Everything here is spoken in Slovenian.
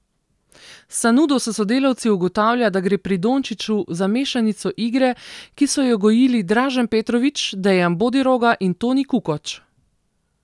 Sanudo s sodelavci ugotavlja, da gre pri Dončiću za mešanico igre, ki so jo gojili Dražen Petrović, Dejan Bodiroga in Toni Kukoč.